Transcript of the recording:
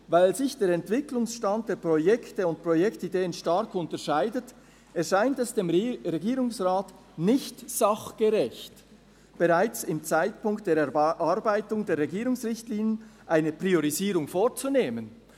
«Weil sich der Entwicklungsstand der Projekte und Projektideen stark unterscheidet, erscheint es dem Regierungsrat nicht sachgerecht, bereits im Zeitpunkt der Erarbeitung der Regierungsrichtlinien eine Priorisierung vorzunehmen.»